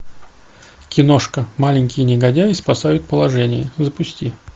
киношка маленькие негодяи спасают положение запусти